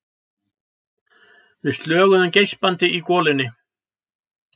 Við slöguðum geispandi í golunni.